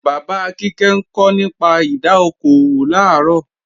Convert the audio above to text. Bàbá Kíkẹ́ ńkọ nípa ìdá okò òwò làárọ̀